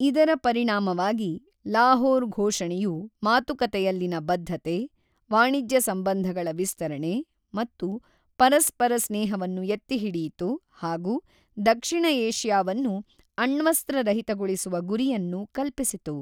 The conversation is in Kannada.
ಇದರ ಪರಿಣಾಮವಾಗಿ ಲಾಹೋರ್ ಘೋಷಣೆಯು ಮಾತುಕತೆಯಲ್ಲಿನ ಬದ್ಧತೆ, ವಾಣಿಜ್ಯ ಸಂಬಂಧಗಳ ವಿಸ್ತರಣೆ ಮತ್ತು ಪರಸ್ಪರ ಸ್ನೇಹವನ್ನು ಎತ್ತಿ ಹಿಡಿಯಿತು ಹಾಗೂ ದಕ್ಷಿಣ ಏಷ್ಯಾವನ್ನು ಅಣ್ವಸ್ತ್ರ ರಹಿತಗೊಳಿಸುವ ಗುರಿಯನ್ನು ಕಲ್ಪಿಸಿತು.